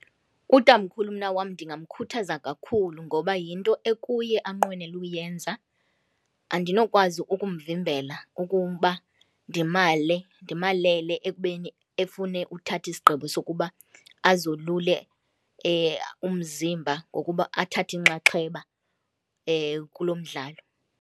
Utamkhulu mna wam ndingamkhuthaza kakhulu ngoba yinto ekuye anqwenela uyenza, andinokwazi ukumvimbela ukuba ndimale ndimalele ekubeni efune uthatha isigqibo sokuba azolule umzimba ngokuba athathe inxaxheba kulo mdlalo.